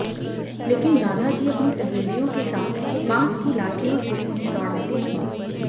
लेकिन राधा जी अपनी सहेलियों के साथ बांस की लाठियों से उन्हें दौड़ाती थीं